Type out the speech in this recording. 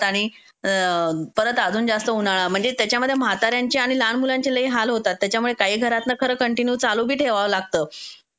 आणि परत अजुन जास्त उन्हाळा. म्हणजे त्याच्यामध्ये म्हाताऱ्याचे आणि लहान मुलांचे लय हाल होतात. त्याच्यामुळे काही घरात न खरं कन्टीन्यू चालूबी ठेवाव लागत.